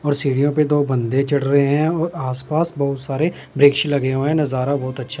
और सीढ़िओ पे दो बंदे चढ़ रहे हैं और आस पास बहुत सारे वृक्ष लगे हुए हैं नजारा बहुत अच्छा--